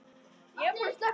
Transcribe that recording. Elsku Dísa mín.